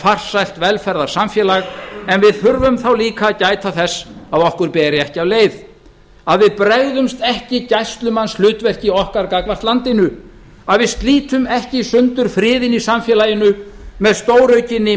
farsælt velferðarsamfélag en við þurfum þá líka að gæta þess að okkur beri ekki á leið að við bregðumst ekki gæslumannshlutverki okkar gagnvart landinu að við slítum ekki í sundur friðinn í samfélaginu með stóraukinni